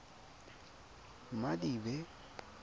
madibe